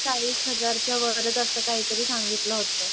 चाळीस हजार च्या वरच असं काय तरी सांगितंल होत.